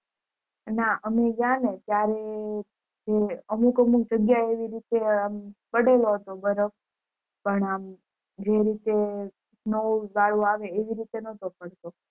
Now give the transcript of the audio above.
ના અમે ગયાને ત્યારે જે અમુક અમુક જગ્યાએ અમ પડેલો હતો બરફ પણ અમ જે રીતે snow વાલુંઅવે એ રીતે નોટો પડતો